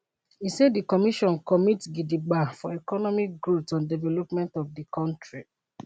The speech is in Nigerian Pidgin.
e say di commission commit gidigba for economic growth and development of di kontri